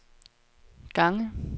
gange